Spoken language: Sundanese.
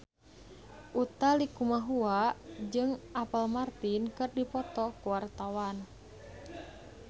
Utha Likumahua jeung Apple Martin keur dipoto ku wartawan